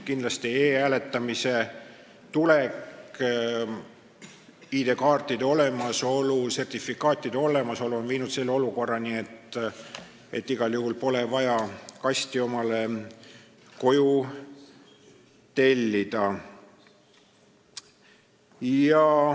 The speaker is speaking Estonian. E-hääletamise võimalus ning ID-kaardi ja sertifikaatide olemasolu on loonud olukorra, kus alati pole vaja kasti koju tellida.